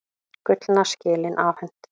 Gullna skelin afhent